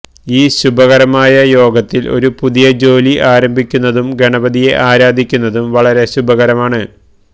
ഈ ശുഭകരമായ യോഗത്തില് ഒരു പുതിയ ജോലി ആരംഭിക്കുന്നതും ഗണപതിയെ ആരാധിക്കുന്നതും വളരെ ശുഭകരമാണ്